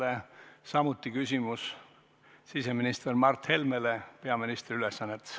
Temal on samuti küsimus siseminister Mart Helmele peaministri ülesannetes.